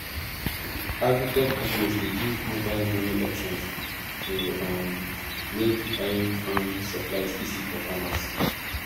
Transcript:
agritech companies dey give mobile money options to um make buying farm supplies easy for farmers